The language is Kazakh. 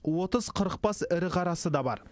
отыз қырық бас ірі қарасы да бар